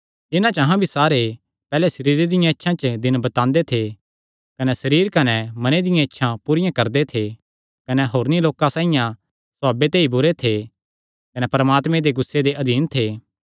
इन्हां च अहां भी सारे दे सारे पैहल्ले अपणे सरीरे दी इच्छां च दिन बितांदे थे कने सरीर कने मने दियां इच्छां पूरियां करदे थे कने होरनी लोकां साइआं सभाव ते ई बुरे थे कने परमात्मे दे गुस्से दे अधीन थे